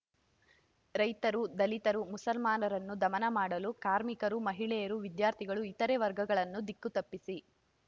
ರೈತರು ದಲಿತರು ಮುಸಲ್ಮಾನರನ್ನು ದಮನ ಮಾಡಲು ಕಾರ್ಮಿಕರು ಮಹಿಳೆಯರು ವಿದ್ಯಾರ್ಥಿಗಳು ಇತರೆ ವರ್ಗಗಳನ್ನು ದಿಕ್ಕು ತಪ್ಪಿಸಿ